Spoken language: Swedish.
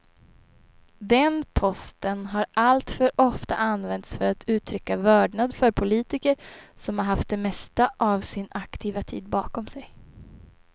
Den posten har alltför ofta använts för att uttrycka vördnad för politiker som haft det mesta av sin aktiva tid bakom sig.